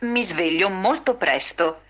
ютюб